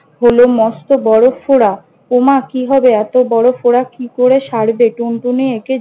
হল মস্ত বড় ফোঁড়া। ও মা! কি হবে এত বড় ফোঁড়া কি করে সারবে! টুনটুনি একে